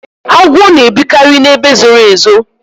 agwọ na ebikari na ebe zoro ezo